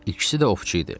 İkisi də ovçu idi.